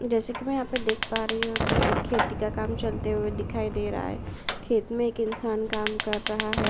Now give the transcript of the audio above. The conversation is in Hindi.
जैसे की मैं यहाँ पे देख पा रही हूँ तो एक खेती का काम चलते हुए दिखाई दे रहा है। खेत में एक इनसान काम कर रहा है।